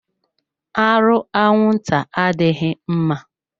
Arụ anwụnta adịghị mma.